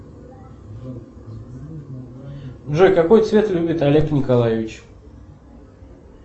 джой какой цвет любит олег николаевич